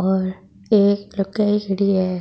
और एक लुगाई खड़ी है